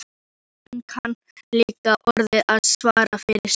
Hann kann líka orðið að svara fyrir sig.